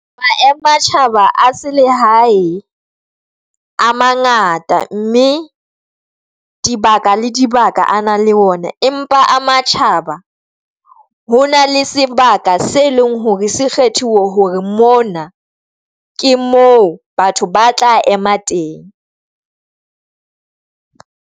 matjhaba a selehae a mangata mme dibaka le dibaka a nang le ona, empa a matjhaba ho na le sebaka se leng hore se kgethiwe hore mona ke moo batho ba tla ema teng.